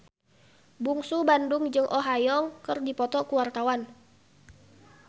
Bungsu Bandung jeung Oh Ha Young keur dipoto ku wartawan